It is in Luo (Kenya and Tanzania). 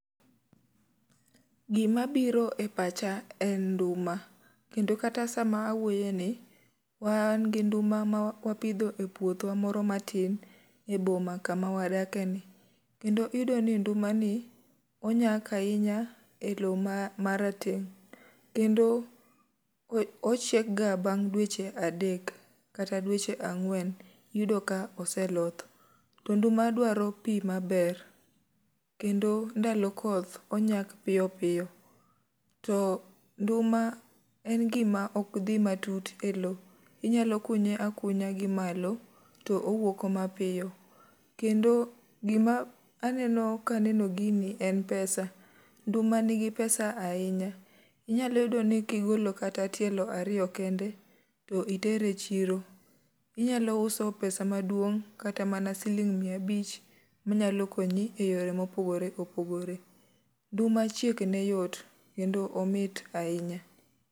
Gima biro e pacha en nduma. Kendo kata sama awuoyeni wan gi nduma ma wapidho e puothwa moro matin, e boma kama wadake ni. Kendo iyudo ni nduma ni, onyak ahinya e lowo ma ma rateng'. Kendo ochiekga bang' dweche adek, kata dwech ang'wen yudo ka oseloth. To nduma dwaro pi maber. Kendo ndalo koth, onyak piyo piyo. To nduma en gima ok dhi matut e lowo. Inyalo kunye akunya gi malo, to owuok mapiyo. Kendo gima aneno ka aneno gini en pesa. Nduma nigi pesa ahinya, inyalo yudo ni kigolo kata tielo ariyo kende, to itere chiro, inyalo uso pesa maduong' kata mana siling' mia abich, manyalo konyi e yore mopogore opogore. Nduma chiek ne yot kendo omit ahinya.